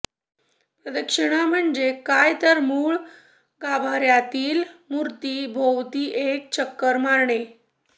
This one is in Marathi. प्रदक्षिणा म्हणजे काय तर मुळ गाभार्यातील मूर्ती भोवती एक चक्कर मारणे